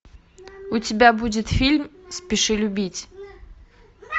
у тебя будет фильм спеши любить